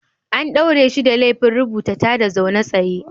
An daure shi da laifin rubuta tada zaune tsaye.